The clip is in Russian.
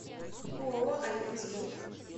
ооо альянс групп